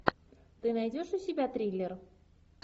ты найдешь у себя триллер